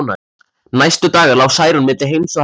Næstu daga lá Særún milli heims og helju.